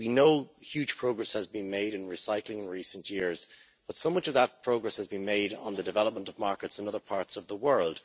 We know huge progress has been made in recycling in recent years but much of that progress has been made on the development of markets in other parts of the world.